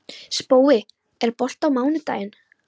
Spói, er bolti á mánudaginn?